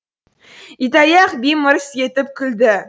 итаяқ би мырс етіп күлді